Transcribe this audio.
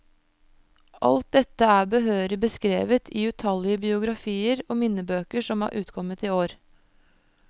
Alt dette er behørig beskrevet i utallige biografier og minnebøker som er utkommet i år.